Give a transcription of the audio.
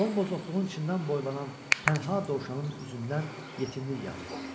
Bombuz otluğun içindən boylanan tənha dovşanın üzündən yetimlik yağırdı.